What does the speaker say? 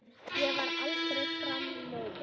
Ég verð aldrei framar móðir.